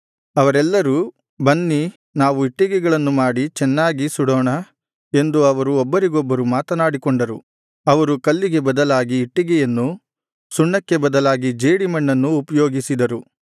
ಅವರೆಲ್ಲರೂ ಬನ್ನಿ ನಾವು ಇಟ್ಟಿಗೆಗಳನ್ನು ಮಾಡಿ ಚೆನ್ನಾಗಿ ಸುಡೋಣ ಎಂದು ಅವರು ಒಬ್ಬರಿಗೊಬ್ಬರು ಮಾತನಾಡಿಕೊಂಡರು ಅವರು ಕಲ್ಲಿಗೆ ಬದಲಾಗಿ ಇಟ್ಟಿಗೆಯನ್ನು ಸುಣ್ಣಕ್ಕೆ ಬದಲಾಗಿ ಜೇಡಿಮಣ್ಣನ್ನು ಉಪಯೋಗಿಸಿದರು